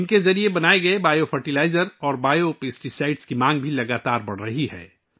ان کے ذریعے تیار کردہ بائیو کھاد اور بائیو کیڑے مار دوا کی مانگ بھی لگاتار بڑھ رہی ہے